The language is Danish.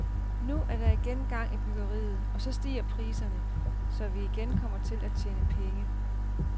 Nu er der igen gang i byggeriet og så stiger priserne, så vi igen kommer til at tjene penge.